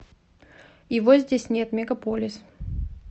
его здесь нет мегаполис